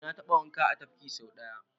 Eh na taɓa wanka a tafki so ɗaya.